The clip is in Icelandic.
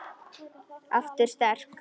Aftur sterk.